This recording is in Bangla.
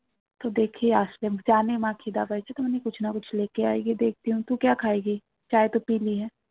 তো দেখি আসলে জানে মা খিদা পেয়েছে